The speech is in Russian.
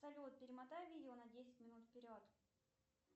салют перемотай видео на десять минут вперед